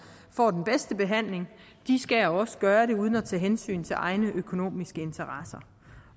får den bedste behandling de skal også gøre det uden at tage hensyn til egne økonomiske interesser